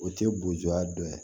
O tɛ gudoya dɔ ye